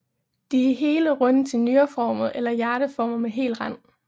De er hele og runde til nyreformede eller hjerteformede med hel rand